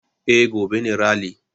Eh, gobe ne rali